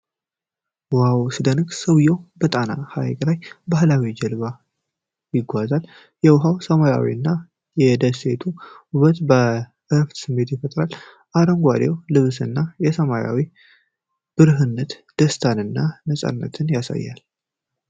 ዋው ሲያስደንቅ! ሰውዬው በጣና ሐይቅ ላይ በባህላዊ ጀልባ ይጓዛል። የውሃው ሰላማዊነት እና የደሴቲቱ ውበት የእረፍት ስሜት ይፈጥራሉ። አረንጓዴው ልብሱ እና የሰማዩ ብሩህነት ደስታን እና ነጻነትን ያሳያል።